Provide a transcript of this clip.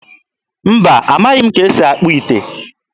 Mba, amaghị m ka esi akpụ ite.